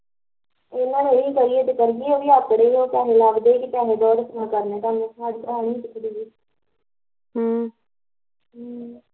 ਇਹਨਾਂ ਦਾ ਨੀ ਕਦੀ ਵੀ ਜੇ ਕਰੀਦੀ ਤਾਂ ਉਹ ਵੀ ਆਪ ਕਰੀਦੀ ਭਾਂਵੇ ਅੱਜ ਕਰਲੇ ਭਾਂਵੇ ਦੋ ਹਫ਼ਤੇ ਬਾਦ ਤੇ ਕਰਨਾ ਕਰਨਾ ਹਮ ਹਮ